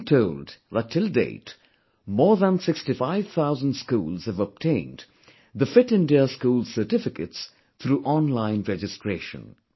I have been told that till date, more than 65,000 schools have obtained the 'Fit India School' certificates through online registration